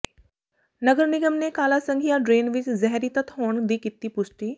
ਨਗਰ ਨਿਗਮ ਨੇ ਕਾਲਾ ਸੰਘਿਆਂ ਡਰੇਨ ਵਿੱਚ ਜ਼ਹਿਰੀ ਤੱਤ ਹੋਣ ਦੀ ਕੀਤੀ ਪੁਸ਼ਟੀ